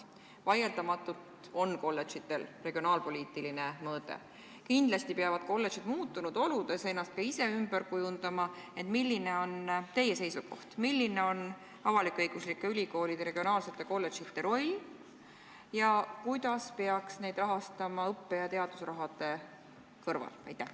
Vaieldamatult on kolledžitel regionaalpoliitiline mõõde, kindlasti peavad kolledžid muutunud oludes ennast ka ise ümber kujundama, ent milline on teie seisukoht: milline on avalik-õiguslike ülikoolide regionaalsete kolledžite roll ja kuidas peaks neid rahastama õppe- ja teadusraha kulutamise vaatevinklist?